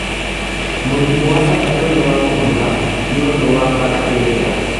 Mũrimũ wa gatatũ nĩ wa kũbutha nĩ ũndũ wa bacteria